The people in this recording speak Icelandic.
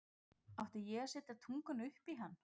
Átti ég að setja tunguna upp í hann?